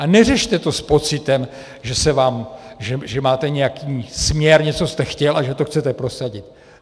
A neřešte to s pocitem, že máte nějaký směr, něco jste chtěl a že to chcete prosadit.